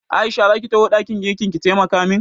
Aisha za ki taho ɗakin girkin ki taimaka min?